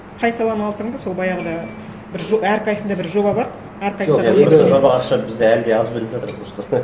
қай саланы алсаң да сол баяғыда бір әрқайсысында бір жоба бар әрқайсы жоқ енді просто жобаға ақша бізде әлі де аз беріп жатыр просто